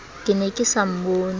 ke ne ke sa mmone